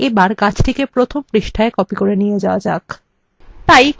এবার গাছটিকে প্রথম পৃষ্ঠায় copy করে নিয়ে যাওয়া যাক